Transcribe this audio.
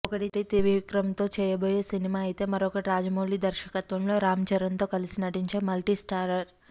ఒకటి త్రివిక్రమ్తో చేయబోయే సినిమా అయితే మరొకటి రాజమౌళి దర్శకత్వంలో రామ్చరణ్తో కలిసి నటించే మల్టీస్టారర్